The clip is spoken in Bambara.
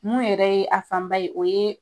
Mun yɛrɛ ye a fanba ye o ye